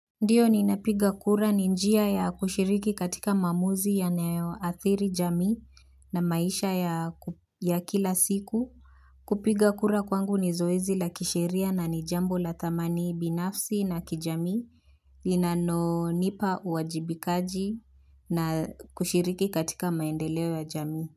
Ndiyo ninapiga kura. Ni njia ya kushiriki katika maamuzi yanayoathiri jamii na maisha ya kila siku kupiga kura kwangu ni zoezi la kisheria na ni jambo la thamani binafsi na kijamii. Linalonipa uwajibikaji na kushiriki katika maendeleo ya jamii.